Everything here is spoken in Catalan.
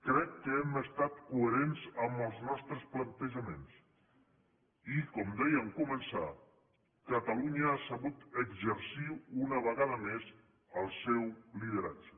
crec que hem estat coherents amb els nostres plantejaments i com deia en començar catalunya ha sabut exercir una vegada més el seu lideratge